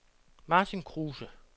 Martin Kruse